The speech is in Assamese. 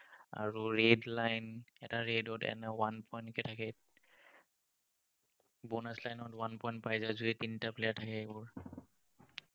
আৰু red-line এটা red ত one point কে থাকে, bonus-line ত one point পাই যায় যদি তিনটা player থাকে, এইবোৰ